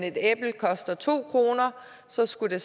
et æble koster to kr så skulle